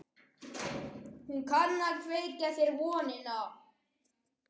Hún kann að kveikja þér vonina.